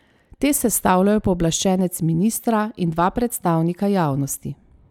Te sestavljajo pooblaščenec ministra in dva predstavnika javnosti.